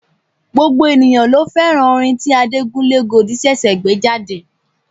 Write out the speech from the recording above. Gbogbo èèyàn ló fẹ́ràn orin tí Adekunle Gold ṣẹ̀ṣẹ̀ gbé jáde.